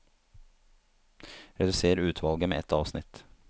Redusér utvalget med ett avsnitt